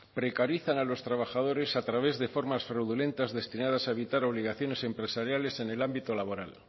precarizan a los trabajadores a través de formas fraudulentas destinadas a evitar obligaciones empresariales en el ámbito laboral